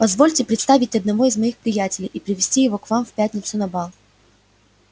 позвольте представить одного из моих приятелей и привезти его к вам в пятницу на бал